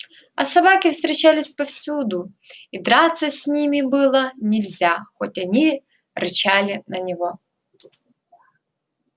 а собаки встречались повсюду и драться с ними было нельзя хоть они рычали на него